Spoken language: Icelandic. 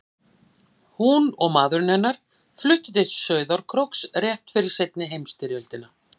Hún og maður hennar fluttu til Sauðárkróks rétt fyrir seinni heimsstyrjöldina.